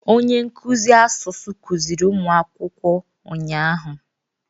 Onye nkụzi asụsụ kuziri ụmụ akwụkwọ ụnyahụ.